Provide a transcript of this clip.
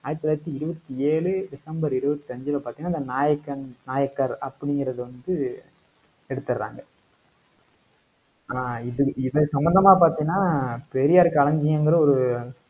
ஆயிரத்தி தொள்ளாயிரத்தி இருபத்தி ஏழு டிசம்பர் இருபத்தி அஞ்சுல பார்த்தீங்கன்னா அந்த நாயக்கன் நாயக்கர் அப்படிங்கிறது வந்து எடுத்திடுறாங்க. ஆஹ் இது இது சம்மந்தமா பாத்தீங்கன்னா பெரியார் களஞ்சியங்குற ஒரு